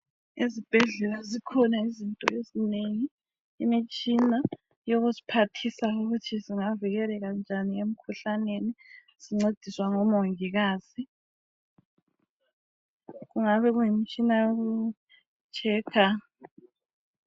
Ezibhedlela zikhona izinto ezinengi imitshina yokusiphathisa ukuthi singavikeleka njani emkhuhlaneni sincediswa ngo mongikazi kungabe kuyimitshina yoku checker.